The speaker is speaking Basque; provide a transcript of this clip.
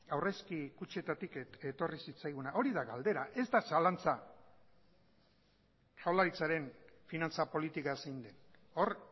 aurrezki kutxetatik etorri zitzaiguna hori da galdera ez da zalantza jaurlaritzaren finantza politika zein den hor